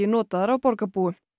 notaðar af borgarbúum